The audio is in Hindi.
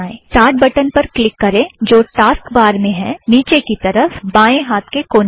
स्टार्ट बटन पर क्लिक करें जो टास्क बार में है - नीचे की तरफ़ बाएँ हाथ के कोने में